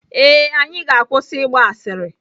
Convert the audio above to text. Ee, anyị ga-akwụsị ịgba asịrị.